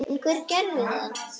En hver gerði það ekki?